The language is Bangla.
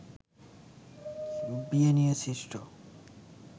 বিয়ে নিয়ে সৃষ্ট